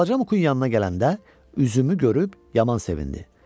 Balaca Muqun yanına gələndə üzümü görüb yaman sevindi.